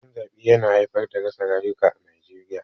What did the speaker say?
Rikicin zaɓe yana haifar da rasa rayuka a Najeriya.